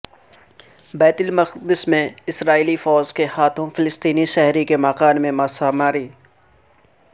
بیت المقدس میں اسرائیلی فوج کے ہاتھوں فلسطینی شہری کے مکان کی مسماری